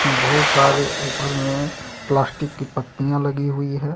बहुत सारे ऊपर में प्लास्टिक की पत्तियां लगी हुई है।